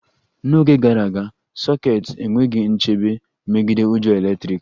N'oge gara aga, sokets enweghị nchebe megide ujo eletrik